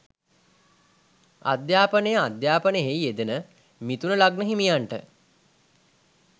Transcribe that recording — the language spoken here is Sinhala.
අධ්‍යාපනය අධ්‍යාපනයෙහි යෙදෙන මිථුන ලග්න හිමියන්ට